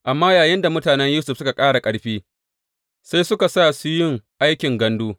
Amma yayinda mutanen Yusuf suka ƙara ƙarfi, sai suka su yin musu aikin gandu.